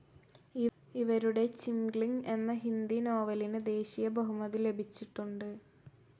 ഇവരുടെ ചിംഗ്ലിങ് എന്ന ഹിന്ദി നോവലിന് ദേശീയ ബഹുമതി ലഭിച്ചിട്ടുണ്ട്.